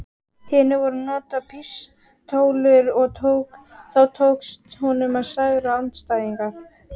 hinu voru notaðar pístólur og þá tókst honum að særa andstæðinginn.